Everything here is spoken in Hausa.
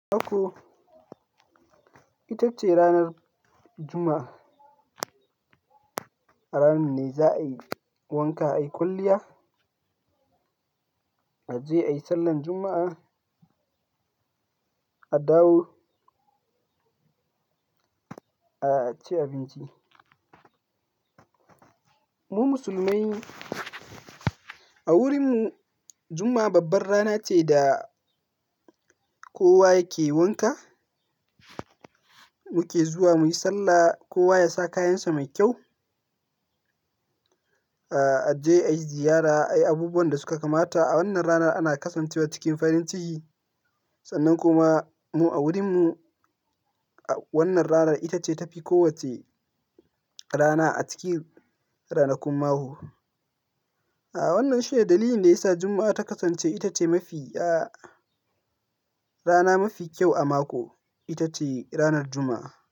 Mako, ita ce ranar Juma'a. A ranar ne za a yi wanka, a yi kwalliya, a je ayi sallar Juma'a, a dawo, a ci abinci. Mu musulmai a wurin mu Juma'a babbar rana ce da kowa yake wanka, muke zuwa muyi sallah, kowa yasa kayansa mai kyau, a je ayi ziyara, ayi abubuwan da suka kamata. A wannan rana ana kasancewa cikin farin ciki sannan kuma mu a wurin mu wannan rana ita ce tafi kowacce rana a cikin ranakun mako. A wannan shi ne dalilin da yasa Juma'a ta kasance ita ce mafi, rana mafi kyau a mako, ita ce ranar Juma'a.